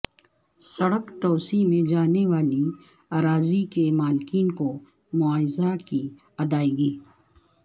سڑک توسیع میں جانے والی اراضی کے مالکین کو معاوضہ کی ادائیگی